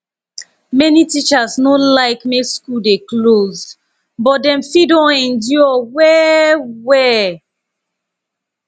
many teachers no like make school dey closed but dem fit don endure well well